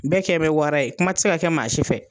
Bɛɛ kɛn bɛ wara ye kuma ti se ka kɛ maa si fɛ